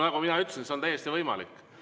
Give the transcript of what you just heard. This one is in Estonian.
Nagu ma ütlesin, see on täiesti võimalik.